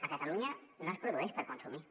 a catalunya no es produeix per consumir